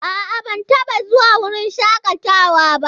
A'a, ban taɓa zuwa wurin shakatawa ba.